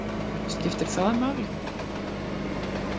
Skiptir það máli?